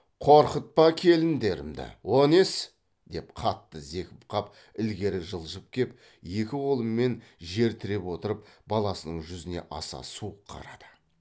қорқытпа келіндерімді о несі деп қатты зекіп қап ілгері жылжып кеп екі қолымен жер тіреп отырып баласының жүзіне аса суық қарады